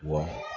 Wa